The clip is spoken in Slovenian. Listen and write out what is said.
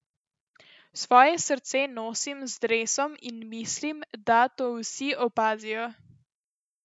Svoje srce nosim z dresom in mislim, da to vsi opazijo.